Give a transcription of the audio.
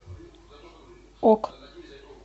ок